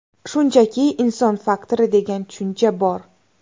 Shunchaki inson faktori degan tushuncha bor.